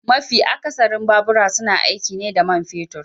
MAfi akasarin babura suna aiki ne da man fetur